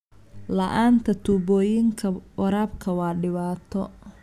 La'aanta tuubooyinka waraabka waa dhibaato.